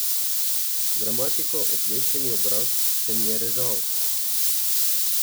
Dramatikov okleščeni obraz se mi je režal.